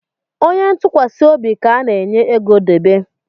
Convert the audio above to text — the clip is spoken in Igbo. Onye ntụkwasị obi ka a na-enye ego debe